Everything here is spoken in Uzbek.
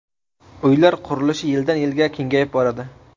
Uylar qurilishi yildan-yilga kengayib boradi.